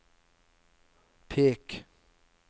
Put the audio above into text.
pek